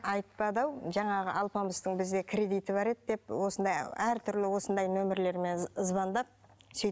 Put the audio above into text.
айтпады жаңағы алпамыстың бізде кредиті бар еді деп осындай әртүрлі осындай нөмірлермен звандап сөйтіп